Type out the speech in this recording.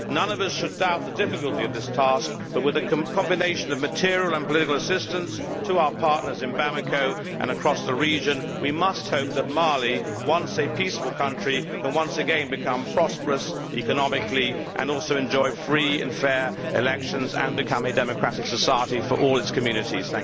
None of us should doubt the difficulty of this task, but with a combination of material and political assistance to our partners in Bamako and across the region, we must hope that Mali, once a peaceful country, can once again become prosperous economically, enjoy free and fair elections and become a democratic society for all its communities.